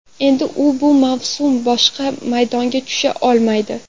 Endi u bu mavsum boshqa maydonga tusha olmaydi.